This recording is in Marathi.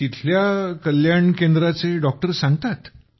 तिथल्या कल्याण केंद्राचे डॉक्टर सांगतात